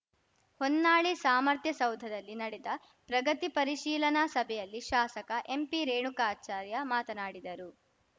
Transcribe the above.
ಹೊನ್ನಾಳಿ ಸಾಮರ್ಥ್ಯಸೌಧದಲ್ಲಿ ನಡೆದ ಪ್ರಗತಿ ಪರಿಶೀಲನಾ ಸಭೆಯಲ್ಲಿ ಶಾಸಕ ಎಂಪಿರೇಣುಕಾಚಾರ್ಯ ಮಾತನಾಡಿದರು